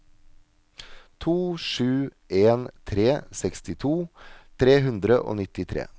to sju en tre sekstito tre hundre og nittitre